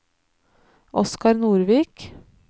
Oskar Nordvik